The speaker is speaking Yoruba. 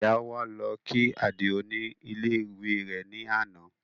Ìyá wa lọ kí Àdìó ní ilé ìwé rẹ̀ ní àná